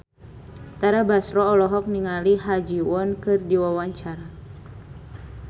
Tara Basro olohok ningali Ha Ji Won keur diwawancara